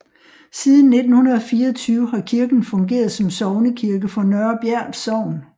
Siden 1924 har kirken fungeret som sognekirke for Nørre Bjert Sogn